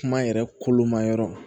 Kuma yɛrɛ kolomayɔrɔ